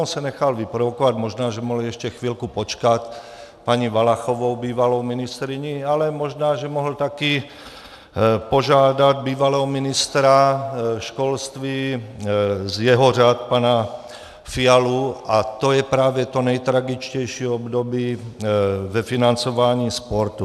On se nechal vyprovokovat, možná, že mohl ještě chvilku počkat, paní Valachovou, bývalou ministryní, ale možná, že mohl taky požádat bývalého ministra školství z jeho řad pana Fialu, a to je právě to nejtragičtější období ve financování sportu.